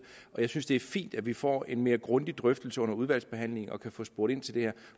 og jeg synes det er fint at vi får en mere grundig drøftelse under udvalgsbehandlingen og kan få spurgt ind til det her